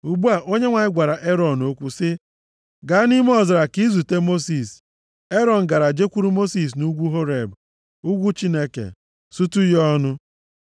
Ugbu a, Onyenwe anyị gwara Erọn okwu sị, “Gaa nʼime ọzara ka izute Mosis.” Erọn gara jekwuru Mosis nʼugwu Horeb, ugwu Chineke, sutu ya ọnụ.